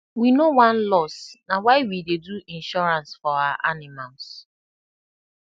we no wan loss na why we dey do insurance for our animals